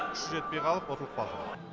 күші жетпей қалып ұтылып қалды